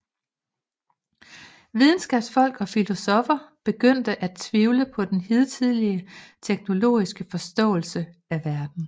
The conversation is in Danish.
Videnskabsfolk og filosoffer begyndte at tvivle på den hidtidige teleologiske forståelse af verden